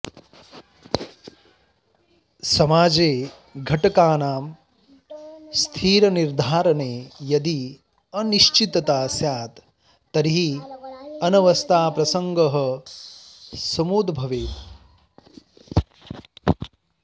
समाजे घटकानां स्थितनिर्धारणे यदि अनिश्चितता स्यात् तर्हि अनवस्थाप्रसङ्गः समुदभवेत्